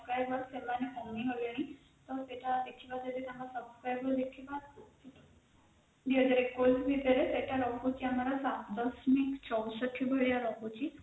subscriber ସେମାନେ କମିଗଲେଣି ତ ସେଟା ଦେଖିବା ଯଦି ତାଙ୍କ subscriber ଦେଖିବା ସେଟା ରହୁଛି ଆମର ୭.୬୪ଭଳିଆ ରହୁଛି